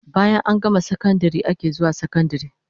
Bayan an gama sakandare ake zuwan sakandari